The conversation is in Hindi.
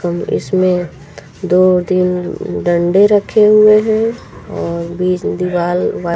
इसमें दो तीन डंडे रखे हुए हैं और बीच में दीवाल वा--